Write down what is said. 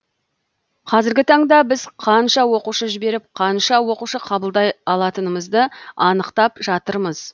қазіргі таңда біз қанша оқушы жіберіп қанша оқушы қабылдай алатынымызды анықтап жатырмыз